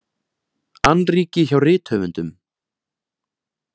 Annríki hjá rithöfundum